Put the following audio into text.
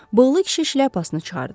Bığlı kişi şlyapasını çıxardı.